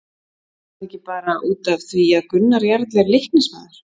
Var þetta ekki bara út af því að Gunnar Jarl er Leiknismaður?